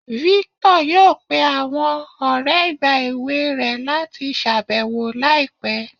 Victor yọọ pẹ̀ awọn ọrẹ̀ igba ẹwẹ̀ rẹ̀ lati ṣabẹwo laipẹ̀